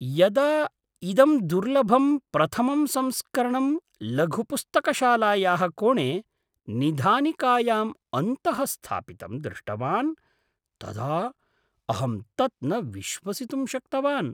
यदा इदं दुर्लभं प्रथमं संस्करणं लघुपुस्तकशालायाः कोणे निधानिकायाम् अन्तःस्थापितं दृष्टवान् तदा अहं तत् न विश्वसितुं शक्तवान्।